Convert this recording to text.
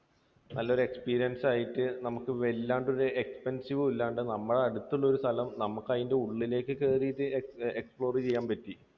നമുക്ക് experience ആയിട്ട് നമുക്ക് വല്ലാത്തൊരു expensive അല്ലാണ്ട് നമ്മുടെ അടുത്തുള്ള ഒരു സ്ഥലം നമുക്ക് അതിൻറെ ഉള്ളിലേക്ക് കയറിയിട്ട് explore ചെയ്യാൻ പറ്റി.